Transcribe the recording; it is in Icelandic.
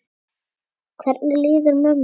Hvernig líður mömmu þinni?